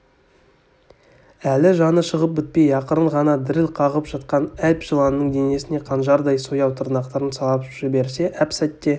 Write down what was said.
әлі жаны шығып бітпей ақырын ғана діріл қағып жатқан әп жыланның денесіне қанжардай сояу тырнақтарын салып жіберіп әп-сәтте